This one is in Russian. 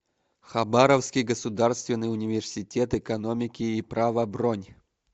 хабаровский государственный университет экономики и права бронь